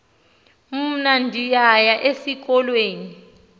mna ndiyaya esikolweni